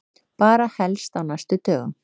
Bara helst á næstu dögum.